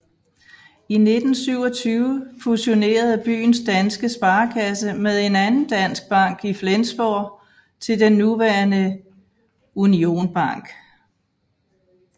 I 1927 fusionerede byens danske sparekasse med en anden dansk bank i Flensborg til den nuværende Union Bank